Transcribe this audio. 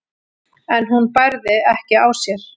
en hún bærði ekki á sér.